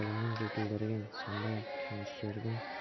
білімін жетілдірген сондай-ақ кеңестердің